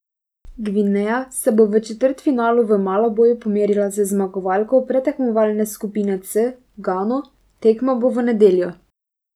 Gvineja se bo v četrtfinalu v Malaboju pomerila z zmagovalko predtekmovalne skupine C, Gano, tekma bo v nedeljo.